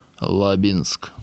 лабинск